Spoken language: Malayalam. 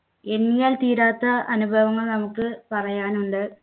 എണ്ണിയാൽ തീരാത്ത അനുഭവങ്ങൾ നമുക്ക് പറയാനുണ്ട്.